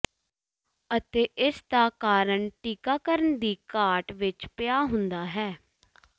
ਅਤੇ ਇਸ ਦਾ ਕਾਰਨ ਟੀਕਾਕਰਣ ਦੀ ਘਾਟ ਵਿੱਚ ਪਿਆ ਹੁੰਦਾ ਹੈ